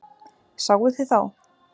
Sáuð þið þá?